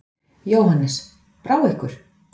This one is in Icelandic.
Jóhannes: Brá ykkur?